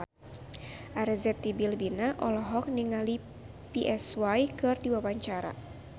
Arzetti Bilbina olohok ningali Psy keur diwawancara